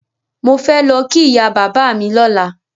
Mò fẹ́ lọ kí ìyá bàbá mi lọ́la.